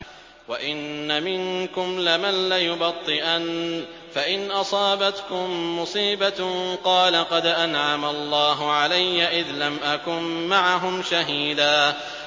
وَإِنَّ مِنكُمْ لَمَن لَّيُبَطِّئَنَّ فَإِنْ أَصَابَتْكُم مُّصِيبَةٌ قَالَ قَدْ أَنْعَمَ اللَّهُ عَلَيَّ إِذْ لَمْ أَكُن مَّعَهُمْ شَهِيدًا